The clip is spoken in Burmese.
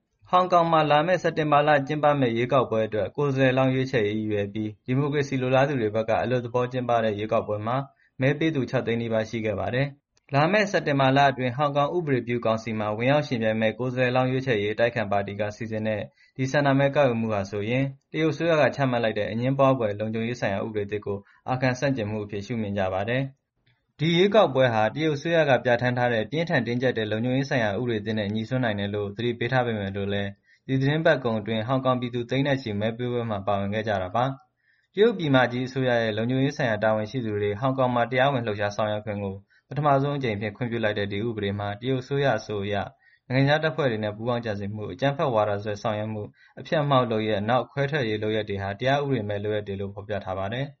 ဟောင်ကောင်မှာ လာမယ့် စက်တင်ဘာလ ကျင်းပမယ့် ရွေးကောက်ပွဲအတွက် ကိုယ်စားလှယ်လောင်း ရွေးချယ်ရေး ရည်ရွယ်ပြီး ဒီမိုကရေစီ လိုလားသူတွေဘက်က အလွတ်သဘော ကျင်းပတဲ့ ရွေးကောက်ပွဲမှာ မဲပေးသူ ၆ သိန်းနီးပါး ရှိခဲ့ပါတယ်။ လာမယ့် စက်တင်ဘာလအတွင်း ဟောင်ကောင် ဥပဒေပြုကောင်စီမှာ ဝင်ရောက်ယှဉ်ပြိုင်မယ့် ကိုယ်စားလှယ်လောင်း ရွေးချယ်ရေး အတိုက်အခံပါတီက စီစဉ်တဲ့ ဒီ ဆန္ဒမဲကောက်ယူမှုဟာဆိုရင် တရုတ်အစိုးရက ချမှတ်လိုက်တဲ့ အငြင်းပွားဖွယ် လုံခြုံရေးဆိုင်ရာ ဥပဒေသစ်ကို အာခံဆန့်ကျင်မှုအဖြစ် ရှုမြင်ကြပါတယ်။ ဒီရွေးကောက်ပွဲဟာ တရုတ်အစိုးရက ပြဋ္ဌာန်းထားတဲ့ ပြင်းထန် တင်းကျပ်တဲ့ လုံခြုံရေးဆိုင်ရာ ဥပဒေသစ်နဲ့ ငြိစွန်းနိုင်တယ်လို့ သတိပေးထားပေမယ့်လည်း ဒီသီတင်းပတ်ကုန်အတွင်း ဟောင်ကောင်ပြည်သူ သိန်းနဲ့ချီ မဲပေးပွဲမှာ ပါဝင်ခဲ့ကြတာပါ။ တရုတ်ပြည်မကြီး အစိုးရရဲ့ လုံခြုံရေးဆိုင်ရာ တာဝန်ရှိသူတွေ ဟောင်ကောင်မှာ တရားဝင် လှုပ်ရှားဆောင်ရွက်ခွင့်ကို ပထမဆုံးအကြိမ်အဖြစ် ခွင့်ပြုလိုက်တဲ့ ဒီဥပဒေမှာ တရုတ်အစိုးရအဆို နိုင်ငံခြားတပ်ဖွဲ့တွေနဲ့ ပူးပေါင်းကြံစည်မှု၊ အကြမ်းဖက်ဝါဒစွဲ ဆောင်ရွက်မှု၊ အဖျက်အမှောင့်လုပ်ရပ်၊ နောက် ခွဲထွက်ရေး လုပ်ရပ်တွေဟာ တရားဥပဒေမဲ့ လုပ်ရပ်တွေလို့ ဖော်ပြထားပါတယ်